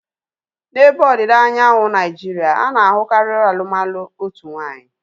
N'ebe ọdịda anyanwụ Naijiria, ana-ahukari alụmalụ otu nwaanyị